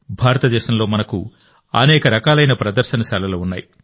భారతదేశంలో మనకు అనేక రకాలైన ప్రదర్శనశాలలు ఉన్నాయి